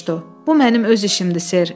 Bu mənim öz işimdir, ser.